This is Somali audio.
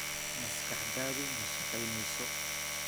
Maskaxdaadu ma shaqaynayso.